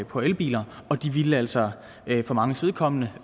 på elbiler og de ville altså for manges vedkommende